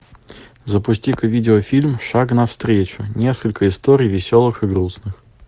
запусти ка видеофильм шаг навстречу несколько историй веселых и грустных